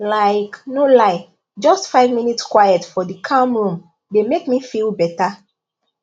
like no lie just five minutes quiet for dey calm room dey make me feel better